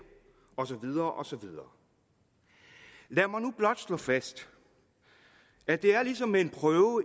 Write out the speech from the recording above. og så videre og så videre lad mig nu blot slå fast at det er som en prøve